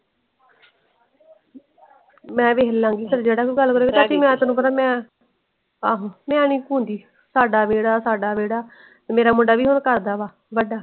ਮੈਂ ਵੇਖ ਲੰਗੀ ਚਾਲ ਜਿਹੜਾ ਵੀ ਗੱਲ ਕਰੇਗਾ ਚਾਚੀ ਮੈਂ ਤੈਨੂੰ ਪਤਾ ਮੈਂ ਆਹੋ ਮੈਨੀ ਕੁੰਦੀ ਸਦਾ ਵੇਹੜਾ ਸਦਾ ਵੇਹੜਾ ਮੇਰਾ ਮੁੰਡਾ ਵੀ ਹੁਣ ਕਰਦਾ ਵਾ ਵੱਡਾ।